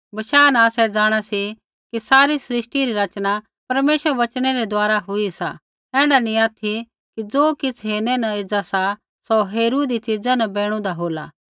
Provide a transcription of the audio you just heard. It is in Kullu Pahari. बशाह न आसै जाँणा सी कि सारी सृष्टि री रचना परमेश्वरै रै वचनै रै द्वारा हुई सा ऐण्ढा नी ऑथि कि ज़ो किछ़ हेरनै न एज़ा सा सौ हेरूईदी च़ीज़ा न बैणूदा होला